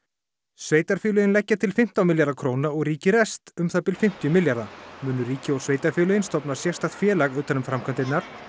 sveitarfélögin leggja til fimmtán milljarða króna og ríkið rest um það bil fimmtíu milljarða munu ríkið og sveitarfélögin stofna sérstakt félag utan um framkvæmdirnar